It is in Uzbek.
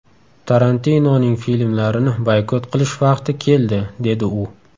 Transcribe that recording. Tarantinoning filmlarini boykot qilish vaqti keldi”, dedi u.